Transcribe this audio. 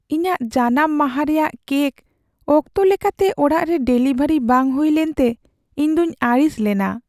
ᱤᱧᱟᱹᱜ ᱡᱟᱱᱟᱢ ᱢᱟᱦᱟ ᱨᱮᱭᱟᱜ ᱠᱮᱠ ᱚᱠᱛᱚ ᱞᱮᱠᱟᱛᱮ ᱚᱲᱟᱜ ᱨᱮ ᱰᱮᱞᱤᱵᱷᱟᱨᱤ ᱵᱟᱝ ᱦᱩᱭ ᱞᱮᱱᱛᱮ ᱤᱧᱫᱩᱧ ᱟᱹᱲᱤᱥ ᱞᱮᱱᱟ ᱾